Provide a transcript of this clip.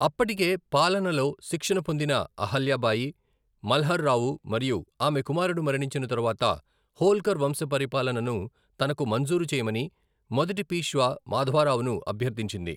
అప్పటికే పాలనలో శిక్షణ పొందిన అహల్యా బాయి, మల్హర్ రావు మరియు ఆమె కుమారుడు మరణించిన తరువాత హోల్కర్ వంశ పరిపాలనను తనకు మంజూరు చేయమని మొదటి పీష్వా మాధవరావును అభ్యర్థించింది.